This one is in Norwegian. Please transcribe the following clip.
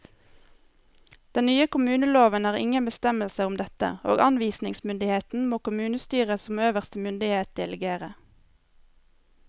Den nye kommuneloven har ingen bestemmelser om dette, og anvisningsmyndigheten må kommunestyret som øverste myndighet delegere.